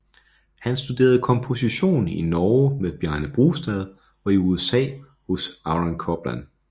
Han studerede komposition i Norge med Bjarne Brustad og i USA hos Aaron Copland